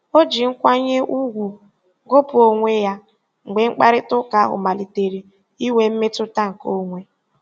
O ji nkwanye ùgwù gụpụ onwe ya mgbe mkparịtaụka ahụ malitere inwe mmetụta nke onwe.